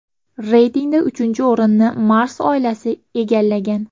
Reytingda uchinchi o‘rinni Mars oilasi egallagan.